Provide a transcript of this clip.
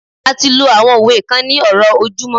a ti lo àwọn òwe kan ní ọrọ ojumọ